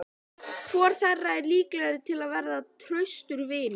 Hvor þeirra er líklegri til að verða traustur vinur?